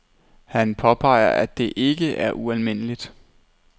Han påpeger, at det ikke er ualmindeligt.